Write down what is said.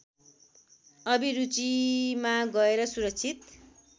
अभिरुचिमा गएर सुरक्षित